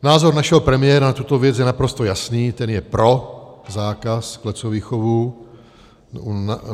Názor našeho premiéra na tuto věc je naprosto jasný, ten je pro zákaz klecových chovů.